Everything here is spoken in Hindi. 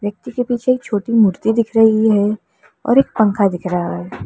के पीछे एक छोटी मूर्ति दिख रही है और एक पंखा दिख रहा है।